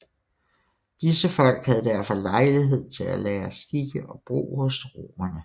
Disse folk havde derfor lejlighed til at lære skikke og brug hos romerne